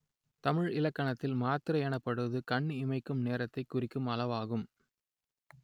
தமிழ் இலக்கணத்தில் மாத்திரை எனப்படுவது கண் இமைக்கும் நேரத்தைக் குறிக்கும் அளவாகும்